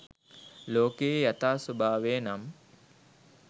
ලෝකයේ යථා ස්වභාවය නම්